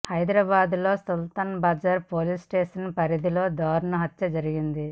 హైదరాబాద్లోని Sultan Bazar police station పరిధిలో దారుణ హత్య జరిగింది